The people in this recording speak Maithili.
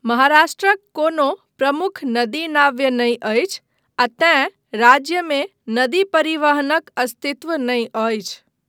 महाराष्ट्रक कोनो प्रमुख नदी नाव्य नहि अछि आ तेँ राज्यमे नदी परिवहनक अस्तित्व नहि अछि।